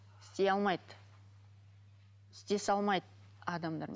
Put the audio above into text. істей алмайды істесе алмайды адамдармен